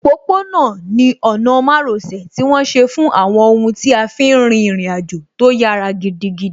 Òpópó-ọ̀nà ni ọ̀nà márosẹ̀ tí wọ́n ṣe fún àwọn ohun tí a fí n rin ìrìn àjò tó yára gidigidi